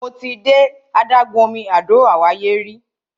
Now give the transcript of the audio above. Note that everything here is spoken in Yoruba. Mo ti de adágún omi Àdó Àwáyé rí.